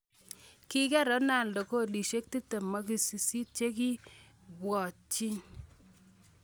Kiker Ronaldo golisiek 28 chekiibwotchin.